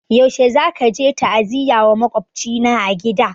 Yaushe zaka je ta'aziyya wa maƙwabcina a gida?